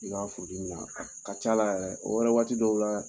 I k'a furu dimin na ka ca la yɛrɛ de o wɛrɛ waati dɔw la